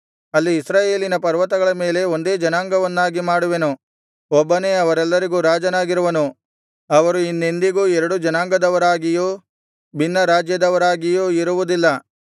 ಅಲ್ಲಿ ಇಸ್ರಾಯೇಲಿನ ಪರ್ವತಗಳ ಮೇಲೆ ಒಂದೇ ಜನಾಂಗವನ್ನಾಗಿ ಮಾಡುವೆನು ಒಬ್ಬನೇ ಅವರೆಲ್ಲರಿಗೂ ರಾಜನಾಗಿರುವನು ಅವರು ಇನ್ನೆಂದಿಗೂ ಎರಡು ಜನಾಂಗದವರಾಗಿಯೂ ಭಿನ್ನರಾಜ್ಯದವರಾಗಿಯೂ ಇರುವುದಿಲ್ಲ